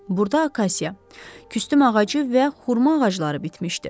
Burda akasiya, küstüm ağacı və xurma ağacları bitmişdi.